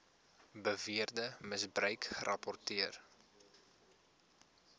beweerde misbruik gerapporteer